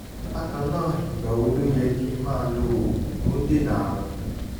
bákan náà ìgbà wo ló yẹ kí n máa lo oògùn tó ń dènà àrùn?